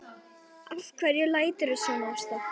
Af hverju læturðu svona Ásta?